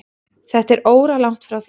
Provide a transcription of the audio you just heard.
Þetta er óralangt frá því.